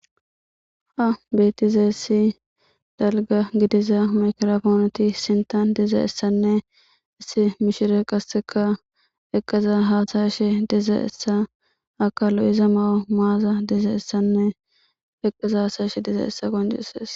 ha beetizayissi dalga gidiza makrofoonoti sintan dizayissanne issi mishire qasseka eqqaza haasayshe dizayissa aka lo'iza ma'o maaza dizayissanne eqqaza hasayshe dizayissa qoncissees